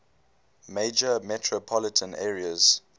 major metropolitan areas